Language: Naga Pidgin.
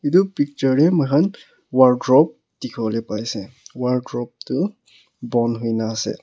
Tu picture tey moi khan wardrobe dekhe pole pai ase wardrobe tu bon hoina ase.